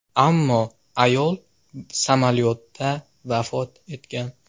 Ammo ayol samolyotda vafot etgan.